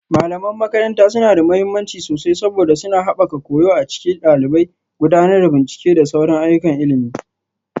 Malaman makaranta suna da mahimmanci sosai saboda suna haɓaka koyo a cikin ɗalibai, gudanar da bincike da sauran ayyukan ilimi